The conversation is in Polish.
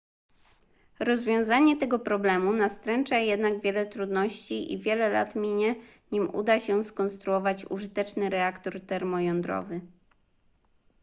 rozwiązanie tego problemu nastręcza jednak wiele trudności i wiele lat minie nim uda się skonstruować użyteczny reaktor termojądrowy